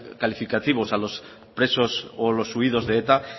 calificativos a los presos o los huidos de eta